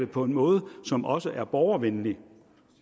på en måde som også er borgervenlig